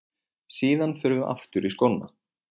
Síðan förum við aftur í skóna.